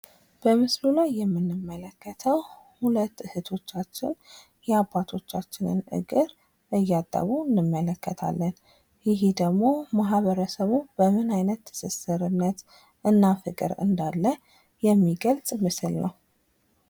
በምስሉ ላይ የምንመለከተው ሁለት እህቶቻችን የአባቶቻችን እግር እያጠቡ እንመለከታለን። ይህ ደግሞ ማህበረሰቡ ምን አይነት ትስሰርነትና ፍቅር እንዳለ የሚገለጽ ምስል ነው።